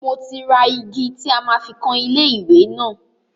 Mo ti ra igi tí a máa fi kan ilé ìwẹ́ náà.